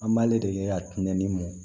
An b'ale de ye a tun bɛ ni mun